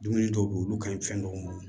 Dumuni dɔw be ye olu ka ɲi fɛn dɔw ma